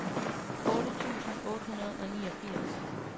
otte tusind otte hundrede og niogfirs